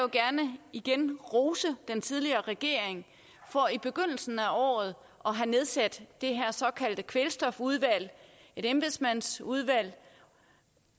gerne igen rose den tidligere regering for i begyndelsen af året at have nedsat det her såkaldte kvælstofudvalg et embedsmandsudvalg